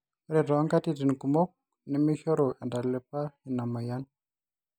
ore too nkatitin kumok nemeeshoru entalipa ina moyian